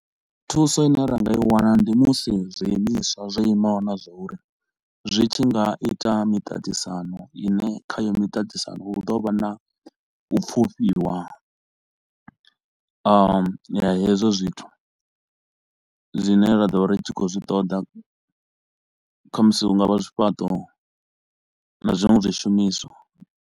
Thuso i ne ra nga i wana ndi musi zwiimiswa zwo imaho na zwa uri, zwi tshi nga ita miṱaṱisano i ne khayo miṱaṱisano hu ḓo vha na u pfufhiwa ahm ya hezwo zwithu zwine ra ḓo vha ri tshi khou zwi ṱoḓa, khamusi hu nga vha zwifhaṱo na zwinwe zwishumiswa.